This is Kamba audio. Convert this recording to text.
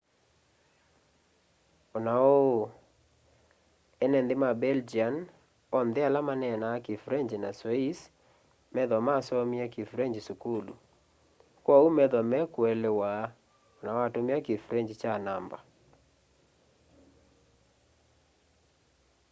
o na uu ene nthi ma belgian onthe ala manenaa kifrengyi na sweiss methwa masomie kifrengyi sukulu kwoou methwa meikuelewa ona watumia kifrengyi kya namba